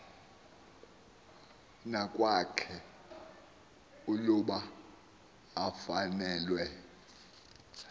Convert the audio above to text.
neakwakhe uluba ufanelwe